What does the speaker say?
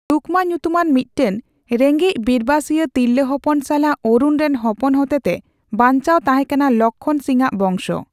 ᱨᱩᱠᱢᱟ ᱧᱩᱛᱩᱢᱟᱱ ᱢᱤᱴᱴᱮᱱ ᱨᱮᱸᱜᱮᱪ ᱵᱤᱨᱵᱟᱹᱥᱤᱭᱟ ᱛᱤᱨᱞᱟᱹ ᱦᱚᱯᱚᱱ ᱥᱟᱞᱟᱜ ᱚᱨᱩᱱ ᱨᱮᱱ ᱦᱚᱯᱚᱱ ᱦᱚᱛᱮᱛᱮ ᱵᱟᱧᱪᱟᱣ ᱛᱟᱸᱦᱮᱠᱟᱱᱟ ᱞᱚᱠᱠᱷᱚᱱ ᱥᱤᱧᱼᱟᱜ ᱵᱚᱝᱥᱚ ᱾